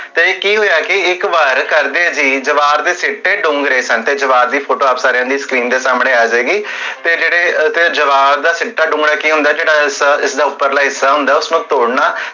ਤੇ ਕੀ ਹੋਇਆ ਕਿ ਇਕ ਵਾਰ